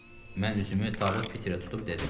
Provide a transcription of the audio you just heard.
Mən üzümü Tabut Piterə tutub dedim: